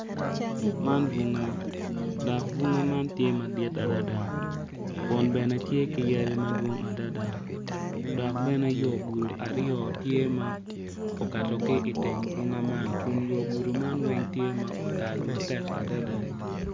Man bunga dok bunga man tye madit adada kun bene te ki yadi madwong adada dok bene yogudo aryo tye ma okato ki i teng bunga man.